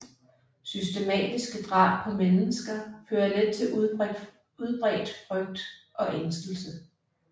Systematiske drab på mennesker fører let til udbredt frygt og ængstelse